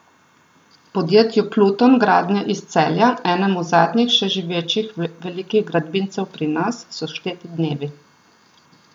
Podjetju Pluton Gradnje iz Celja, enemu zadnjih še živečih velikih gradbincev pri nas, so šteti dnevi.